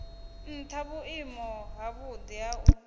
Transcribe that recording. ntha vhuimo havhudi ha u